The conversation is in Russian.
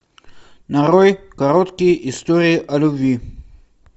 нарой короткие истории о любви